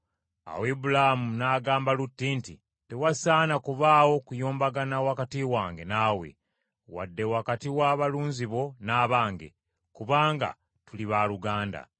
Awo Ibulaamu n’agamba Lutti nti, “Tewasaana kubaawo kuyombagana wakati wange naawe, wadde wakati w’abalunzi bo n’abange, kubanga tuli baaluganda.